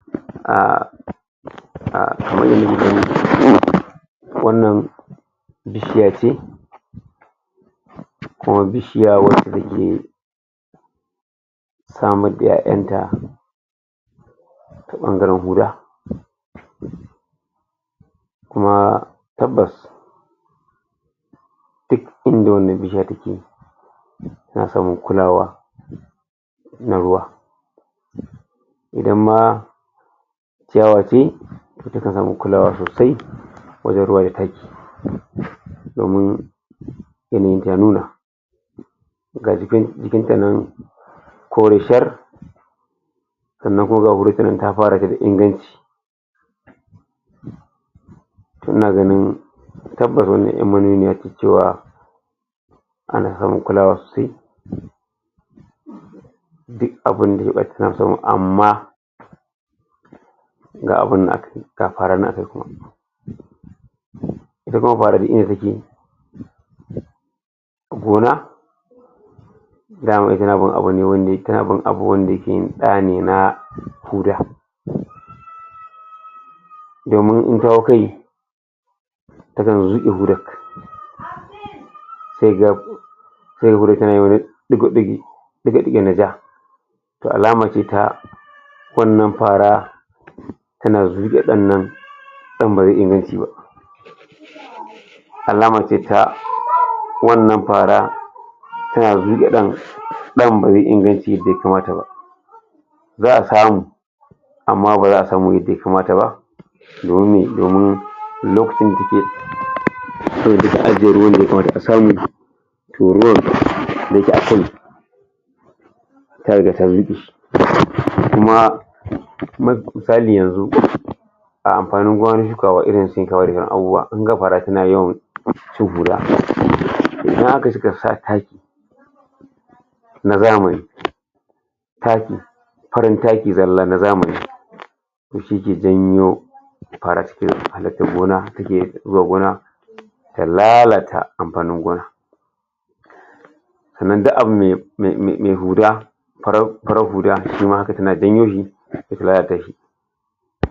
um wannan bishiya ce kuma bishiya wanda take sammad da 'ya'yan ta ta bangaren huda. Kuma, tabbas duk inda wannan bishiya take, tana samun kulawa na ruwa. Idan ma ciyawa ce to ta kan samu kulawa sosai wajen ruwa da taki domin ga jikinta nan kore shar sannan kuma ga ta fara gina inganci. To, ina ganin tabbas wannan yarmanuniya ce cewa ana samun kulawa sosai duk abunda ya dace suna samu amma ga abun nan ita kuma fara duk inda take take a gona na wannan abu ne wanne, tana bin abu da ne na huda. Domin in ta hau kai, takan zuke hudar da alamar ita wannan fara yana rike dan nan dan bai ba. Alama ice wannan fara tana zuke dannan Alama ice wannan fara tana zuke dannan, dan bai yi inganci yadda ya kamata ba, za a samu amma ba za a samu yadda ya kamata ba. Domin me, domin lokacin da take aka samu doruwar za ka ga ta zuke shi. Kuma, ma- misali yanzu, a amfanin gonan shukawa, irin wadannan abubuwa, kin ga gara suna yawan shan kura. In haka, sukan sa taki na zamani taki farin taki zalla na zamani. Shi ke janyo gona zuwa gona ta lalata amfanin gona. Sannan duk abun da ya, mai, mai, mai huda farar, farar huda, shi ma haka tana janyo shi ta lalata shi.